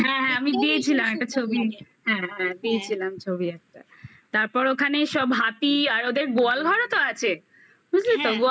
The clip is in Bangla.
হ্যাঁ হ্যাঁ আমি দিয়েছিলাম একটা ছবি হ্যাঁ হ্যাঁ দিয়েছিলাম ছবি একটা তারপর ওখানে সব হাতি আর ওদের গোয়াল ঘরও তো আছে বুঝলি তো